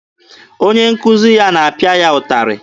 Onye nkuzi ya na-apịa ya ụtarị.